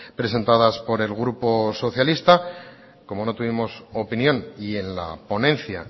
presentadas por el grupo socialista como no tuvimos opinión y en la ponencia